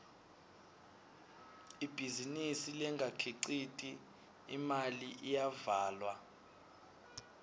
ibhizinisi lengakhiciti imali iyavalwa